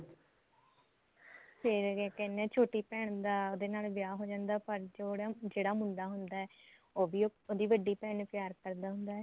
ਫੇਰ ਕਿਆ ਕਹਿਣੇ ਆ ਛੋਟੀ ਭੈਣ ਦਾ ਉਹਦੇ ਨਾਲ ਵਿਆਹ ਹੋ ਜਾਂਦਾ ਪਰ ਜਿਹੜਾ ਮੁੰਡਾ ਹੁੰਦਾ ਉਹ ਵੀ ਉਹਦੀ ਵੱਡੀ ਭੈਣ ਨੂੰ ਪਿਆਰ ਕਰਦਾ ਹੁੰਦਾ